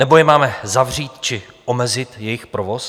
Nebo je máme zavřít či omezit jejich provoz?